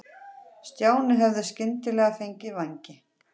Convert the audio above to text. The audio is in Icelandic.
Stjáni hefði skyndilega fengið vængi.